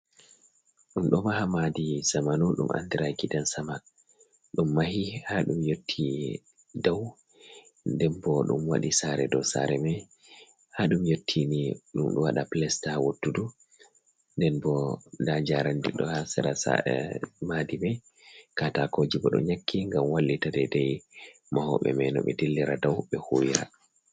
Ɗum ɗo maha madi sjamanu ɗum andira gidan sama, ɗum mahi ha dum yottini dau den bo dum wadi sare dow sare mai ha ɗum yotti ni ɗum wada plesta wotudu nden bo nda njarandi ɗo ha sara madi mai katakoji bo don nyaki ngam wallita mahobe mai no be dillira dau be huwira.